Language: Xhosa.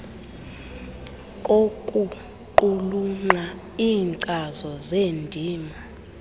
kokuqulunqa iinkcazo zeendima